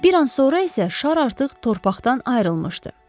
Bir an sonra isə şar artıq torpaqdan ayrılmışdı.